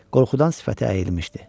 Qorxudan sifəti əyilmişdi.